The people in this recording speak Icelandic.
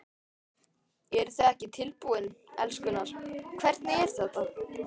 Eruð þið ekki tilbúin, elskurnar, hvernig er þetta?